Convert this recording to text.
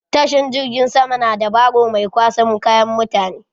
Tashan jirgin sama na da barro mai kwasan kayan mutan